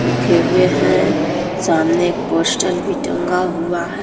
रखें हुए हैं सामने एक पोस्टर भी टंगा हुआ है।